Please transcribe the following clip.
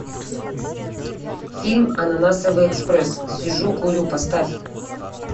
фильм ананасовый экспресс сижу курю поставь